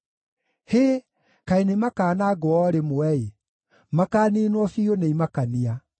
Hĩ! Kaĩ nĩmakanangwo o rĩmwe-ĩ! Makaaniinwo biũ nĩ imakania!